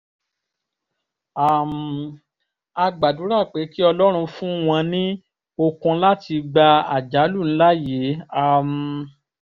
um a gbàdúrà pé kí ọlọ́run fún wọn ní okun láti gba àjálù ńlá yìí um